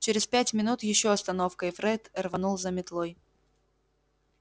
через пять минут ещё остановка и фред рванул за метлой